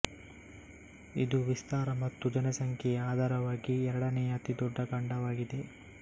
ಇದು ವಿಸ್ತಾರ ಮತ್ತು ಜನಸಂಖ್ಯೆಯ ಆಧಾರವಾಗಿ ಎರಡನೆಯ ಅತಿ ದೊಡ್ಡ ಖಂಡವಾಗಿದೆ